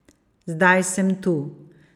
Zdaj sem tu.